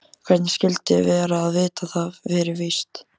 Hvernig skyldi vera að vita það fyrir víst.